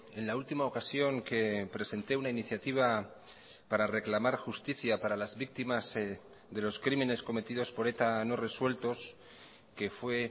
en la última ocasión que presenté una iniciativa para reclamar justicia para las víctimas de los crímenes cometidos por eta no resueltos que fue